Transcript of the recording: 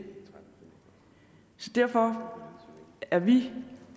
derfor er vi